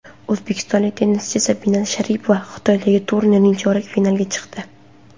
O‘zbekistonlik tennischi Sabina Sharipova Xitoydagi turnirning chorak finaliga chiqdi.